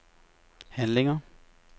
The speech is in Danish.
handlinger